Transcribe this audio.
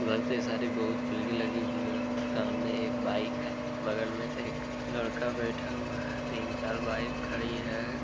बोहोत भीड़ लगी हुई है। सामने एक बाइक है बगल में एक लड़का बैठा हुआ है तीन-चार बाइक खड़ी है ।